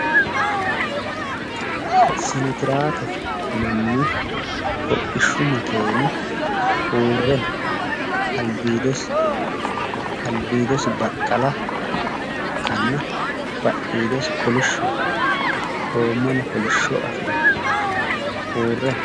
sinotiraakete yinanni hodhishshu makeeni uurre no albiidosi baqqala ikkanna badhiidosi kolishshoho goommano kolishsho afirino uure no